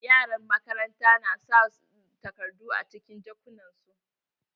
Yaran makaranta na sa takardu a cikin jakunnan su.